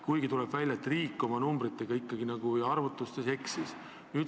Samas tuleb välja, et riik oma arvutustega eksis.